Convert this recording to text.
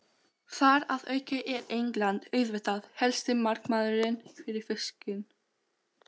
Þar að auki er England auðvitað helsti markaðurinn fyrir fiskinn.